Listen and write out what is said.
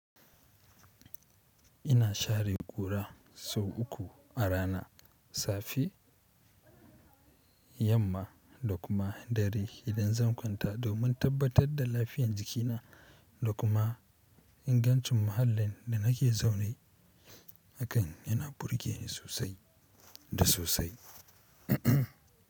Ina share ƙura sau uku a rana, safe, yamma da kuma dare idan zan kwanta domin tabbatar da lafiyar jikina da kuma ingancin muhallin da nake zaune. Hakan yana burge ni sosai da sosai.